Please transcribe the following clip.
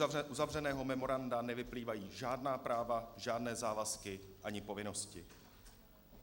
Z uzavřeného memoranda nevyplývají žádná práva, žádné závazky ani povinnosti.